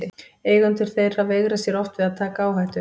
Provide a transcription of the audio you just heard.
Eigendur þeirra veigra sér oft við að taka áhættu.